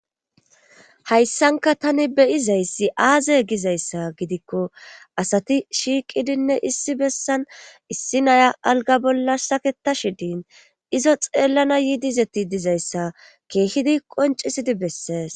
hayssanka tani beyizayssi aaze gizayssa gidikko asati shiiqidinne issi bessan issi naya alga bolla saketa shidiin izo xeellana yiidizeti dizayssa keehidi qoncisidi bessees